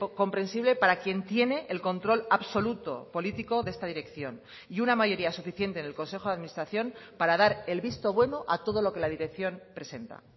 comprensible para quien tiene el control absoluto político de esta dirección y una mayoría suficiente en el consejo de administración para dar el visto bueno a todo lo que la dirección presenta